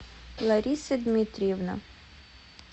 лариса дмитриевна